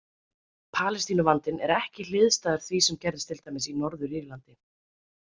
Palestínuvandinn er ekki hliðstæður því sem gerðist til dæmis í Norður- Írlandi.